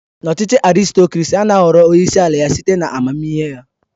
N'ọchịchị Arịstokrasị, ana ahọrọ onyeisi ala site na amamihe ya.